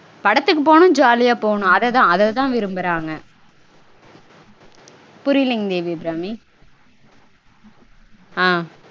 படத்துக்கு போகனும் ஜாலியா போகனும். அததா அததா விரும்பறாங்க. புரியலைங் தேவி அபிராமி ஆஹ்